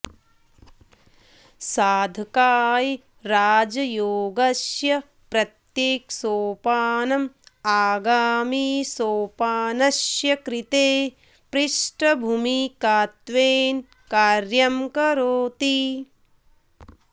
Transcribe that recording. साधकाय राजयोगस्य प्रत्येकसोपानम् आगामिसोपानस्य कृते पृष्ठभूमिकात्वेन कार्यं करोति